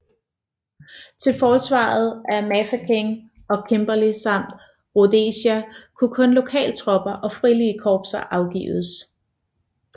Til forsvaret af Mafeking og Kimberley samt Rhodesia kunne kun lokaltropper og frivillige korpser afgives